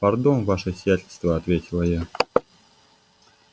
пардон ваше сиятельство ответила я